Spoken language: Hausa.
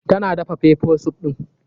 Tana daga pepper soup ɗin.